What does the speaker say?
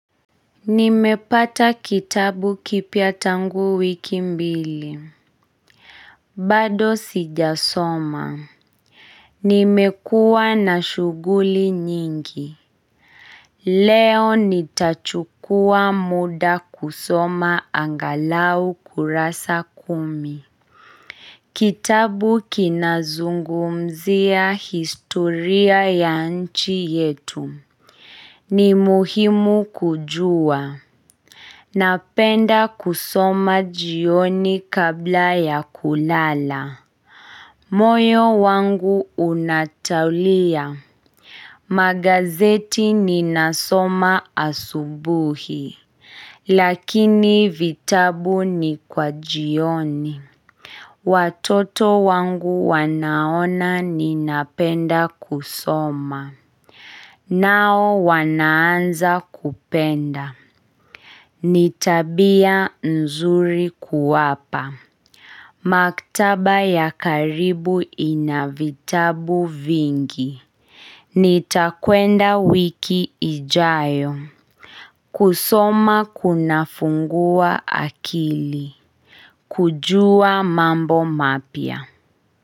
Nimepata kitabu kipya tangu wiki mbili. Bado sijasoma. Nimekuwa na shughuli nyingi. Leo nitachukua muda kusoma angalau kurasa kumi. Kitabu kinazungumzia historia ya nchi yetu. Ni muhimu kujua. Napenda kusoma jioni kabla ya kulala. Moyo wangu unatulia. Magazeti ninasoma asubuhi. Lakini vitabu ni kwa jioni. Watoto wangu wanaona ninapenda kusoma. Nao wanaanza kupenda. Ni tabia nzuri kuwapa. Maktaba ya karibu inavitabu vingi. Nitakwenda wiki ijayo. Kusoma kunafungua akili. Kujua mambo mapia.